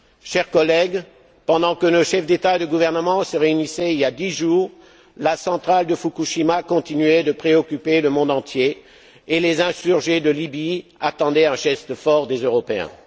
Chers collègues, pendant que nos chefs d'État et de gouvernement se réunissaient, il y a dix jours, la centrale de Fukushima continuait de préoccuper le monde entier et les insurgés de Libye attendaient un geste fort des Européens.